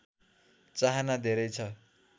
चाहना धेरै छ